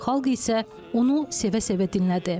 Xalq isə onu sevə-sevə dinlədi.